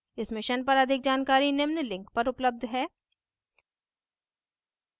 इस mission पर अधिक जानकारी निम्न link पर उपलब्ध है: